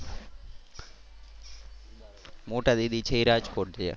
મોટા દીદી છે એ રાજકોટ છે.